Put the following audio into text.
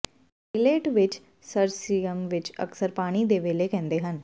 ਏਇਲਟ ਵਿਚ ਸਰਸਰੀਅਮ ਵੀ ਅਕਸਰ ਪਾਣੀ ਦੇ ਵੇਲ਼ੇ ਕਹਿੰਦੇ ਹਨ